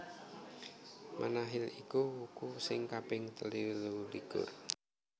Manahil iku wuku sing kaping telulikur